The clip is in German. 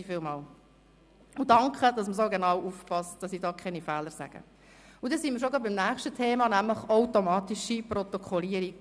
Wir kommen zum nächsten Thema, der automatischen Protokollierung: